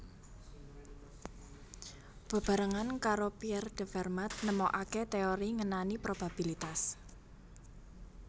Bebarengan karo Pierre de Fermat nemokaké téori ngenani probabilitas